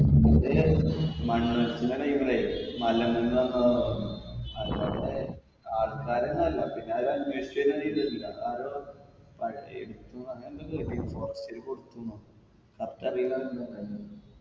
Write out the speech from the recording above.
അത് മണ്ണൊലിപ്പിൻറെ time ലേ മലമ്മന്ന് വന്നതാ തോന്ന് അത്കണ്ടേ ആൾക്കാര്ന്നല്ല പിന്നെ അത് അന്വേഷിച്ചയിന് ഒരിതുല്ല ആരോ അങ്ങനെന്തോ കേട്ടിന്ൽ forest ൽ കൊടുത്തുന്നോ correct അറീല എന്താ ഇണ്ടായിന്ന്